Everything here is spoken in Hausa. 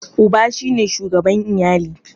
Uba shi ne shugaban iyali.